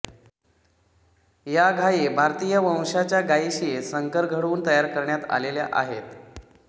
या गायी भारतीय वंशांच्या गायीशी संकर घडवून तयार करण्यात आलेल्या आहेत